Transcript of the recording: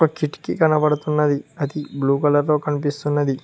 ఒక కిటికీ కనబడుతున్నది అది బ్లూ కలర్ లో కనిపిస్తున్నది.